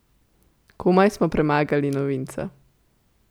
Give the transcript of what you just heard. Komaj smo premagali novinca.